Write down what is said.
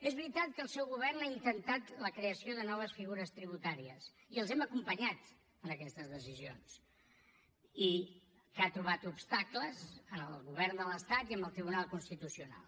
és veritat que el seu govern ha intentat la creació de noves figures tributàries i els hem acompanyat en aquestes decisions i que ha trobat obstacles en el govern de l’estat i en el tribunal constitucional